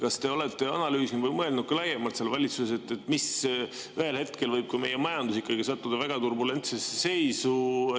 Kas te olete valitsuses analüüsinud või mõelnud laiemalt selle peale, et ühel hetkel võib ka meie majandus sattuda väga turbulentsesse seisu?